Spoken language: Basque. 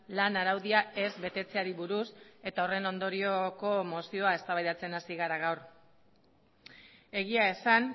lan araudia ez betetzeari buruz eta horren ondorioko mozioa eztabaidatzen hasi gara gaur egia esan